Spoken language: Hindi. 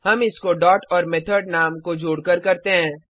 हम इसको डॉट और मेथड नाम को जोडकर करते हैं